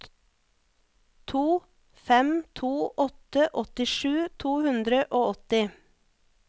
to fem to åtte åttisju to hundre og åtti